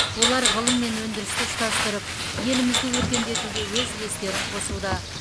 олар ғылым мен өндірісті ұштастырып елімізді өркендетуге өз үлестерін қосуда